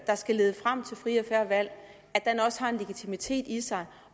der skal lede frem til frie og fair valg også har en legitimitet i sig